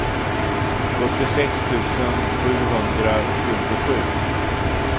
sjuttiosex tusen sjuhundratjugosju